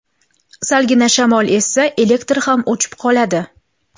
Salgina shamol essa, elektr ham o‘chib qoladi.